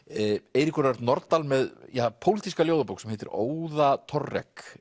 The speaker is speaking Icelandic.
Eiríkur Örn Norðdahl með pólitíska ljóðabók sem heitir